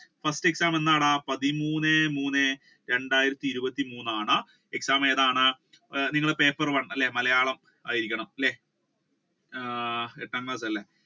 first exam എന്നാടാ പത്തിമൂന്നേ മൂന്നേ രണ്ടായിരത്തി ഇരുപത്തി മൂന്നാണ് exam ഏതാണ് നിങ്ങളുടെ പേപ്പർ one അല്ലെ മലയാളം ആയിരിക്കണം അല്ലെ ആഹ് എട്ടാം ക്ലാസ്സ് അല്ലെ